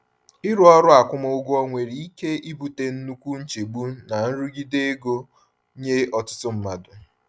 Ịrụ ọrụ akwụmụgwọ nwere ike ibute nnukwu nchegbu na nrụgide ego nye ọtụtụ mmadụ.